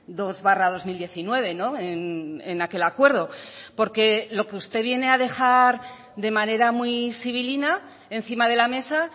dos barra dos mil diecinueve en aquel acuerdo porque lo que usted viene a dejar de manera muy sibilina encima de la mesa